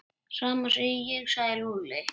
Sama segi ég sagði Lúlli.